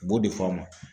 U b'o de fɔ a ma